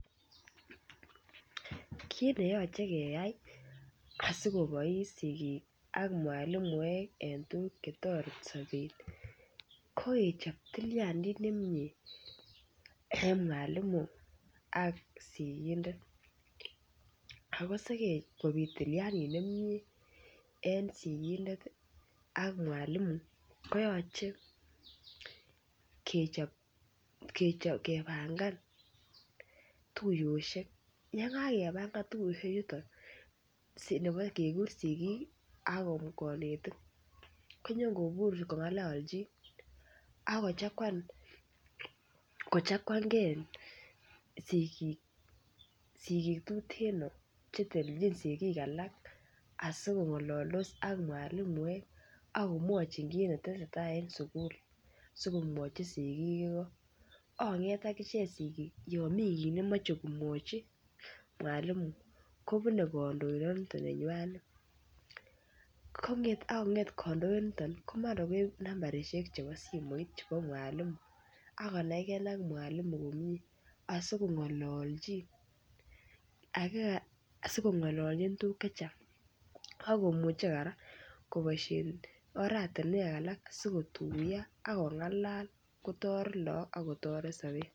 Kit neyoche keyai asi kobois sigik ak mwalimuek en tuguk Che toreti sobet ko kechob tilyandit nemie en mwalimu ak sigindet ako Sikobit tilyandit nemie en mwalimu ak sigindet koyoche kebangan tuiyosiek ye kakipangan tuiyosiek nebo kekur sigik ak konetik ko nyon kobur kongololchi ak kochaguan ge sigik tuteno Che telelchin sigik alak asikongoldos ak mwalimuek akomwochin kit ne tesetai en sukul asi komwochi sigik igok ak konget agichek sigik yon mi kit nemoche mwalimu kobune kandoindanaton nenywanet ak kandoindet ko mara koib nambaisiek chebo simoit chebo mwalimu ak konai ge ak mwalimu komie asi kongololchin tuguk Che Chang ak komuche kora koboisien oratinwek alak sikotuyo ak kongalal kotoret lagok ak kotoret sobet